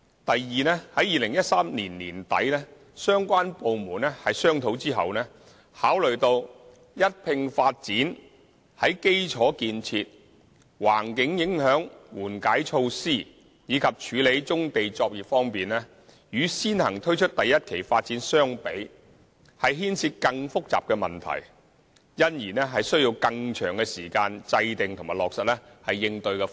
第二，在2013年年底相關部門商討後，考慮到一併發展在基礎建設、環境影響緩解措施，以及處理棕地作業方面，與先行推出第1期發展相比，牽涉更複雜的問題，因而需要更長的時間制訂及落實應對方案。